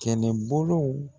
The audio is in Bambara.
Kɛnɛbolow